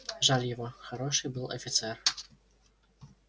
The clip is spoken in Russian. жаль его хороший был офицер